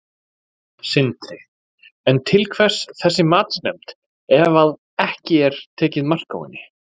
Sindri: En til hvers þessi matsnefnd ef að ekki er tekið mark á henni?